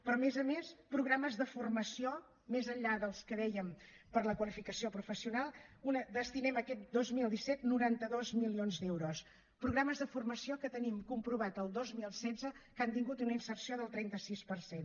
però a més a més programes de formació més enllà dels que dèiem per a la qualificació professional hi destinem aquest dos mil disset noranta dos milions d’euros programes de formació que tenim comprovat el dos mil setze que han tingut una inserció del trenta sis per cent